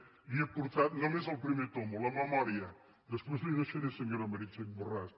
n’hi he portat només el pri·mer tom la memòria després l’hi deixaré senyora me·ritxell borràs